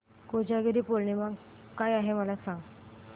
कोजागिरी पौर्णिमा काय आहे मला सांग